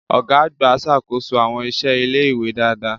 Ọ̀gá àgbà ń ṣàkóso àwọn iṣẹ́ ilé-ìwé dáadáa.